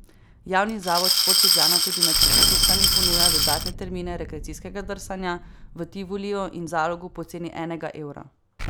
Javni zavod Šport Ljubljana tudi med počitnicami ponuja dodatne termine rekreacijskega drsanja v Tivoliju in Zalogu po ceni enega evra.